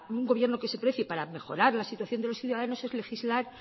un gobierno que se precie para mejorar la situación de los ciudadanos es legislar